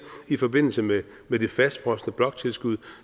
i forbindelse med det fastfrosne bloktilskud